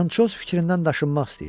Fransoz fikrindən daşınmaq istəyir.